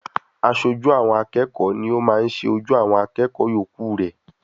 Aṣojú àwọn akẹ́kọ̀ọ́ ni o máa ń ṣe ojú awon akẹ́kọ̀ọ́ yòókù rẹ.